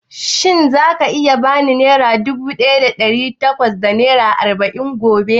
Shin za ka ba ni nera dubu ɗaya da ɗari bakwai da arba'in gobe?